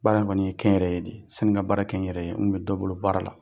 Baara in kɔni ye kɛnyɛrɛye de ye sani n ka baara kɛ n yɛrɛ ye n kun bɛ dɔ bolo baara la.